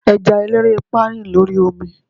eja elerepa rin l'ori omi